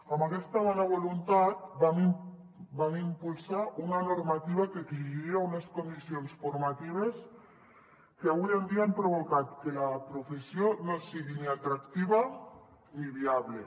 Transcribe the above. amb aquesta bona voluntat vam impulsar una normativa que exigia unes condicions formatives que avui en dia han provocat que la professió no sigui ni atractiva ni viable